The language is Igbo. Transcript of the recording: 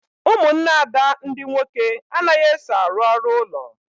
Ụmụnne Ada ndị nwoke anaghị eso arụ ọrụ ụlọ